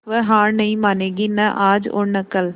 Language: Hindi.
वह हार नहीं मानेगी न आज और न कल